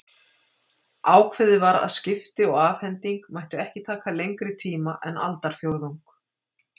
Ákveðið var að skipti og afhending mættu ekki taka lengri tíma en aldarfjórðung.